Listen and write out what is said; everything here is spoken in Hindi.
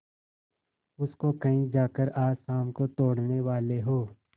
उसको कहीं जाकर आज शाम को तोड़ने वाले हों